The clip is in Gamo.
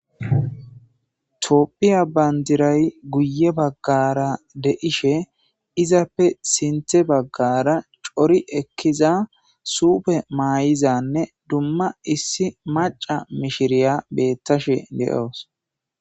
toopphiya bandiray guye baggara deishe izappe sinthe baggara cori ekkiza suupe maay7izanne dumma issi maca mishiriya bettashe de7oos